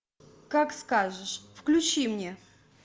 как скажешь включи мне